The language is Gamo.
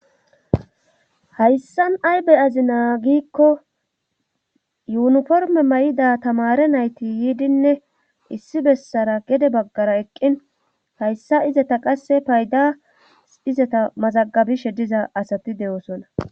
Hayssan aybey azi naagikko yuuniforme may7ida tamare nayti yiidinne issi bessara gede baggara eqqin hayssa izeta qasse payda izata mazagabishe diza asati de7oosona